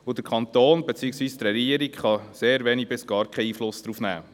Der Kanton beziehungsweise die Regierung kann sehr wenig bis gar keinen Einfluss darauf nehmen.